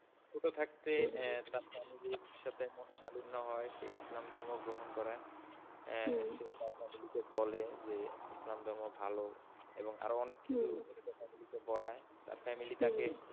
ছোটো থাকতে তার family ইর সাথে মনোমালিন্য হয় সে ইসলাম ধর্ম গ্রহণ করায়। সে তার family কে বলে যে ইসলাম ধর্ম ভালো এবং আরো অনেক কিছু তার family কে বলায় তার family তাকে,